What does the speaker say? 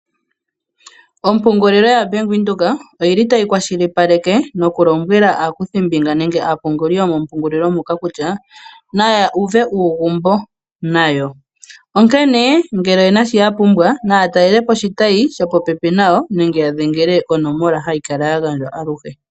Ompungulilo ya Bank Windhoek oyili tayi kwashilipaleke nokulombwela aakuthimbinga nenge aapungili yomompungulilo moka kutya . Naya uve uugumbo nayo. Onkene ngele oyena sho yapumbwa naya talelepo oshitayi shopopepi nayo nenge ya dhengele konomola hayi kala ya gandjwa.